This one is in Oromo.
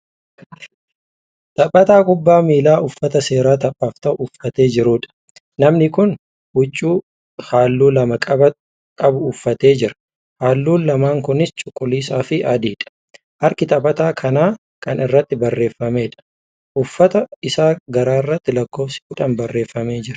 Taphataa kuphaa miilaa uffata seeraa taphaaf ta'u uffatee jiruudha. namni Kuni huccuu halluu lama qabu uffatee jira. halluun lamaan Kunis cuquliisa Fi adiidha. harki taphataa kanaa Kan irratti barreeffameedha. uffata Isaa garaarratti lakkoofsi kudhan barreeffamee jira.